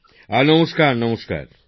মোদিজিঃ নমস্কার নমস্কার